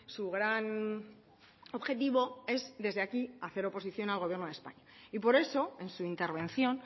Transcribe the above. su gran objetivo es desde aquí hacer oposición al gobierno de españa y por eso en su intervención